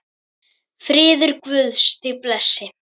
Friður Guðs þig blessi.